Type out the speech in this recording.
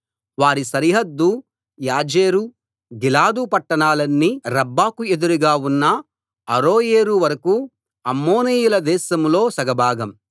వారి సరిహద్దు యాజెరు గిలాదు పట్టణాలన్నీ రబ్బాకు ఎదురుగా ఉన్న అరోయేరు వరకూ అమ్మోనీయుల దేశంలో సగభాగం